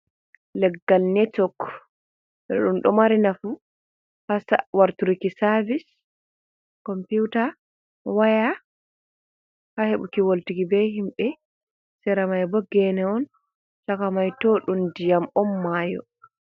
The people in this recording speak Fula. Leggal netwok. ɗum ɗo mari nafu ha warturuki savis, computa waya, ha hebuki wolɗuki be himbe. Seramai bo gene on shaka mai to ɗum ɗiyam on mayo.